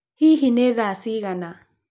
Hihi nĩ thaa cigana?